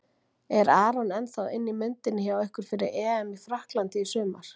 Er Aron ennþá inn í myndinni hjá ykkur fyrir EM í Frakklandi í sumar?